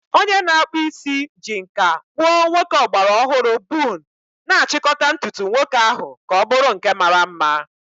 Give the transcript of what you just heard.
Onye na-akpụ isi ji nkà kpụọ nwoke ọgbara ọhụrụ bun, na-achịkọta ntutu nwoke ahụ ka ọ bụrụ nke mara mma.